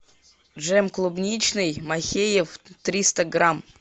джем клубничный махеев триста грамм